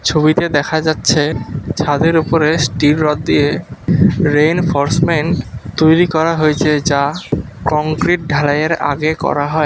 ছবিতে দেখা যাচ্ছে ছাদের উপরে স্টিল রড দিয়ে রেইনফোর্সমেন্ট তৈরি করা হয়েছে যা কংক্রিট ঢালাই এর আগে করা হয়।